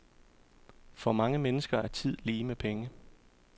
For mange mennesker er tid lige med penge.